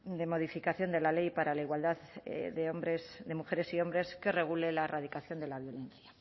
de modificación de la ley para la igualdad de mujeres y hombres que regule la erradicación de la violencia